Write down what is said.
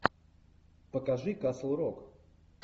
покажи касл рок